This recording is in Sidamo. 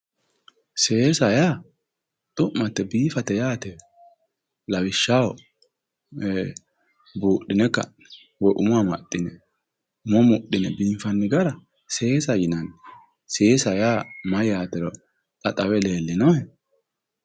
seesa yaa xu'mate biifate yaate lawishshaho buudhine ka'ne umo amaxxine umo mudhine biifa gara seesa yinanni seesa yaa mayyaatero xa xawe leellinohe?